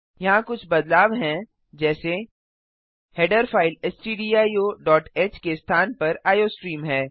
यहाँ कुछ बदलाव हैं जैसे160 हेडर फाइल stdioह के स्थान पर आईओस्ट्रीम है